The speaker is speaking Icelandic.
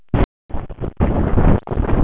Viltu kannski bíða með að panta aðalréttina?